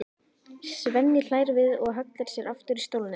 Svenni hlær við og hallar sér aftur í stólnum.